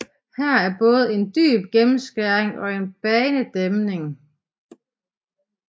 Her er både en dyb gennemskæring og en banedæmning